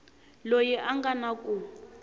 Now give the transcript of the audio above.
loyi a nga na ku